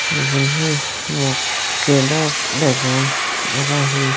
igun hi mokkey dok degong aro hi.